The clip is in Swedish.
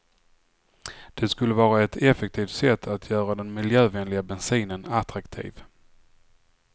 Det skulle vara ett effektivt sätt att göra den miljövänliga bensinen attraktiv.